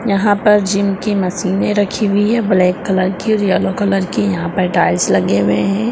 यहाँ पर जिम की मशीनें रखी हुई है ब्लैक कलर की और येलो कलर की यहाँ पर टाइल्स लगे हुए हैं।